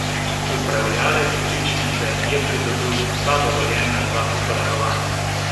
Upravljavec žičnice je pridobil vsa dovoljenja za obratovanje.